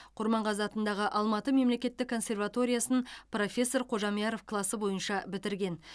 құрманғазы атындағы алматы мемлекеттік консерваториясын профессор қожамьяров класы бойынша бітірген